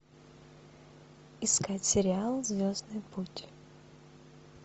искать сериал звездный путь